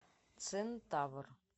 центавр